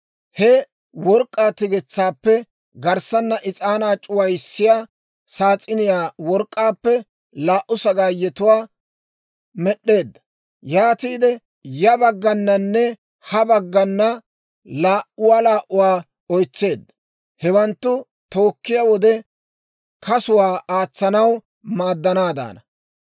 He work'k'aa tigetsaappe garssana is'aanaa c'uwissiyaa saas'iniyaa work'k'aappe laa"u sagaayetuwaa med'd'eedda; yaatiide ya baggananne ha baggana laa"uwaa laa"uwaa oytseedda. Hewanttu tookkiyaa wode kasuwaa aatsanaw maaddanaadaana.